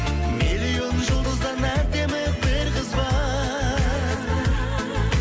миллион жұлдыздан әдемі бір қыз бар